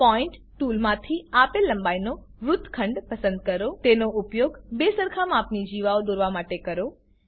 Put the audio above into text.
point ટૂલમાંથી આપેલ લંબાઈનો વૃતખંડ પસંદ કરો તેનો ઉપયોગ બે સરખા માપની જીવાઓ દોરવા માટે કરો